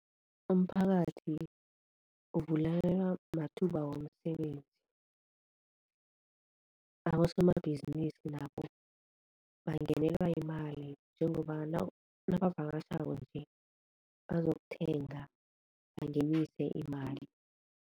Umphakathi uvulekelwa mathuba womsebenzi, abosomabhizinisi nabo bangenelwa yimali njengoba nabavakatjhako nje bazokuthenga bangenise imali.